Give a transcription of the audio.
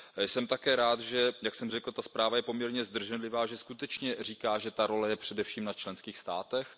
Jsem také rád, že jak jsem řekl, ta zpráva je poměrně zdrženlivá, skutečně říká, že ta role je především na členských státech.